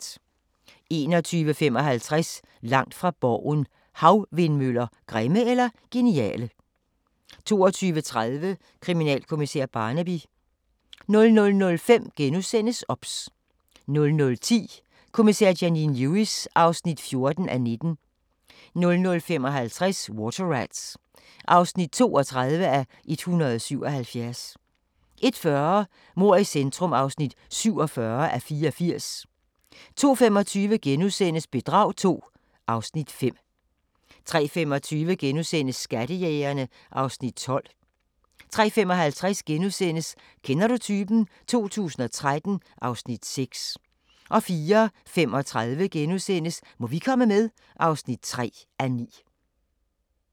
21:55: Langt fra Borgen: Havvindmøller – grimme eller geniale? 22:30: Kriminalkommissær Barnaby 00:05: OBS * 00:10: Kommissær Janine Lewis (14:19) 00:55: Water Rats (32:177) 01:40: Mord i centrum (47:84) 02:25: Bedrag II (Afs. 5)* 03:25: Skattejægerne (Afs. 12)* 03:55: Kender du typen? 2013 (Afs. 6)* 04:35: Må vi komme med? (3:9)*